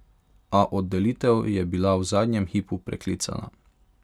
A oddelitev je bila v zadnjem hipu preklicana.